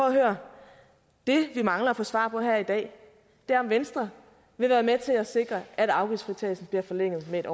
at høre det vi mangler at få svar på her i dag er om venstre vil være med til at sikre at afgiftsfritagelsen bliver forlænget med